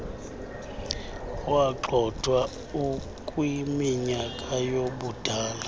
wagxothwa ukwiminyaka yobudala